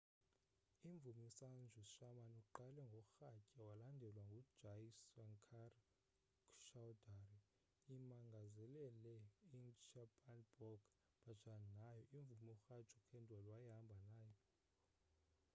imvumi usanju sharma uqale ngorhatya walandelwa ngujai shankar choudhary imangazelele i-chhappan bhog bhajan nayo imvumi uraju khandelwal wayehamba naye